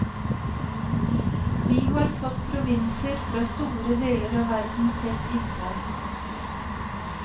Vi har fått provinser fra store deler av verden tett innpå.